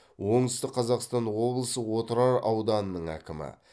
оңтүстік қазақстан облысы отырар ауданының әкімі